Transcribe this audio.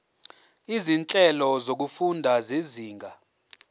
izinhlelo zokufunda zezinga